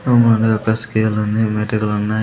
ఒక్క స్కేల్ ఉంది మెటీరియల్ ఉన్నాయి .